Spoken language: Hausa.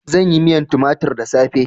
Zan yi miyar tumatir da safe.